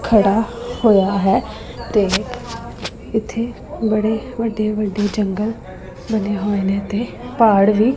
ਖੜਾ ਹੋਇਆ ਹੈ ਤੇ ਇੱਥੇ ਬੜੇ ਵੱਡੇ-ਵੱਡੇ ਜੰਗਲ ਬਣੇ ਹੋਏ ਨੇ ਤੇ ਪਹਾੜ ਵੀ --